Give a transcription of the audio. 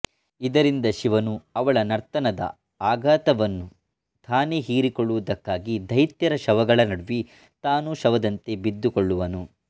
ಇದರಿಂದ ಶಿವನು ಅವಳ ನರ್ತನದ ಆಘಾತವನ್ನು ತಾನೇ ಹೀರಿಕೊಳ್ಳುವುದಕ್ಕಾಗಿ ದೈತ್ಯರ ಶವಗಳ ನಡುವೆ ತಾನೂ ಶವದಂತೆ ಬಿದ್ದುಕೊಳ್ಳುವನು